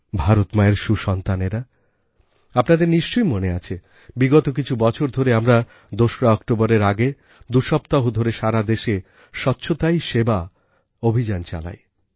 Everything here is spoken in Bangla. ভারত মায়ের সুসন্তানেরা আপনাদের নিশ্চয়ই মনে আছে বিগত কিছু বছর ধরে আমরা ২রা অক্টোবরের আগে দুসপ্তাহ ধরে সারা দেশে স্বচ্ছতাই সেবা অভিযান চালাই